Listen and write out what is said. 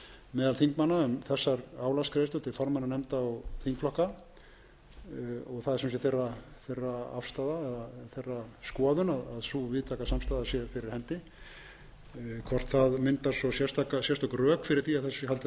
meðal þingmanna um þessar álagsgreiðslur til formanna nefnda og þingflokka og það er sem sé þeirra afstaða eða þeirra skoðun að sú víðtæka samstaða sé fyrir hendi hvort það myndar svo sérstök rök fyrir því að þessu sé haldið áfram það er önnur saga en svona